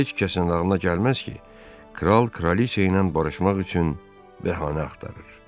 Heç kəsin ağlına gəlməz ki, kral kraliça ilə barışmaq üçün bəhanə axtarır.